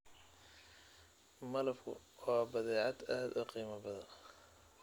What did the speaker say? Malabku waa badeecad aad u qiimo badan.